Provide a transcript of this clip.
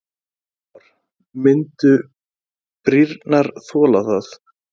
Kristján Már: Myndu brýrnar þola það?